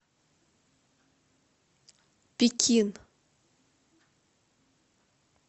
пекин